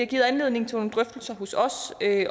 givet anledning til nogle drøftelser hos os